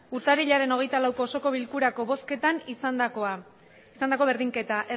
urtarrilaren hogeita lauko osoko bilkurako bozketan izandako berdinketak